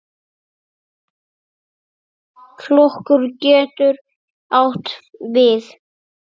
Flokkur getur átt við